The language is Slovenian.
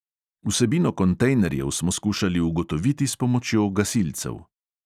Vsebino kontejnerjev smo skušali ugotoviti s pomočjo gasilcev.